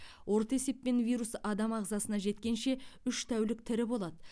орта есеппен вирус адам ағзасына жеткенше үш тәулік тірі болады